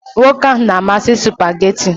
Nwoke ahụ na-amasị spugeetí